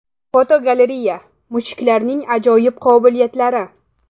Fotogalereya: Mushuklarning ajoyib qobiliyatlari.